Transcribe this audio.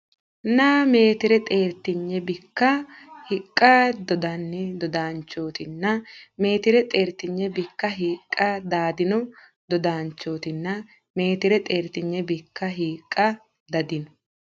nna meetire xeertinyi bikka hiiqqa dadiino dodaanchooti nna meetire xeertinyi bikka hiiqqa dadiino dodaanchooti nna meetire xeertinyi bikka hiiqqa dadiino.